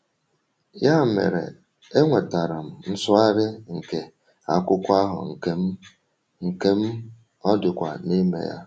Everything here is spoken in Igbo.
“Ya mere, enwetara m nsụgharị nke akwụkwọ ahụ nke m, nke m, ọ dịkwa n’ime ya.”